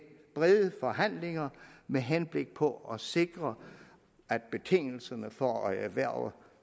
brede forhandlinger med henblik på at sikre at betingelserne for at erhverve